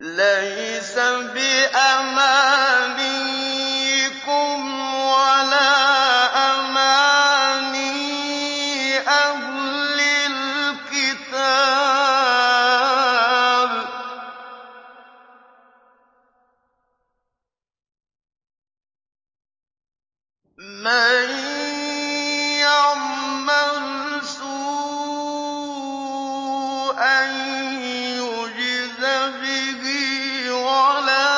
لَّيْسَ بِأَمَانِيِّكُمْ وَلَا أَمَانِيِّ أَهْلِ الْكِتَابِ ۗ مَن يَعْمَلْ سُوءًا يُجْزَ بِهِ وَلَا